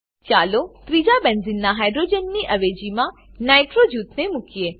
ચાલો ત્રીજા બેન્ઝીનનાં હાઇડ્રોજનની અવેજીમાં નાઇટ્રો નાઈટ્રો જૂથને મુકીએ